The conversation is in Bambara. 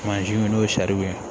n'o ye ye